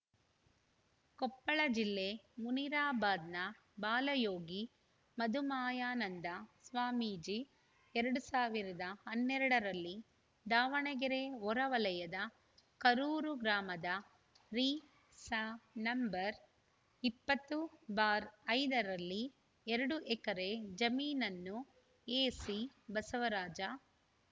ಕೊಪ್ಪಳ ಜಿಲ್ಲೆ ಮುನಿರಾಬಾದ್‌ನ ಬಾಲಯೋಗಿ ಮಧುಮಾಯಾನಂದ ಸ್ವಾಮೀಜಿ ಎರಡ್ ಸಾವಿರದ ಹನ್ನೆರಡರಲ್ಲಿ ದಾವಣಗೆರೆ ಹೊರ ವಲಯದ ಕರೂರು ಗ್ರಾಮದ ರಿಸ ನಂಬರ್ ಇಪ್ಪತ್ತುಬಾರ್ ಐದು ರಲ್ಲಿ ಎರಡು ಎಕರೆ ಜಮೀನನ್ನು ಎಸಿಬಸವರಾಜ